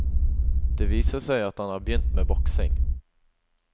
Det viser seg at han har begynt med boksing.